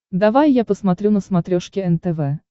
давай я посмотрю на смотрешке нтв